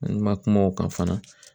Ma kuma o kan fana